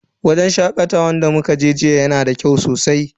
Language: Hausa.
Wajen shakatawan da muka je jiya yana da kyau sosai.